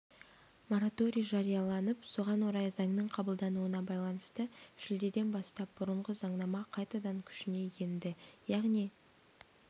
мораторий жарияланып соған орай заңның қабылдануына байланысты шілдеден бастап бұрынғы заңнама қайтадан күшіне енді яғни